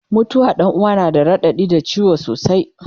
mutuwar Ɗan uwa na da raɗaɗi da ciwo sosai